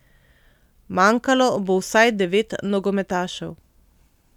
Manjkalo bo vsaj devet nogometašev.